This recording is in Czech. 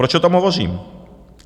Proč o tom hovořím?